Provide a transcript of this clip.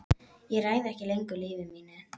Ég ræð ekki lengur lífi mínu.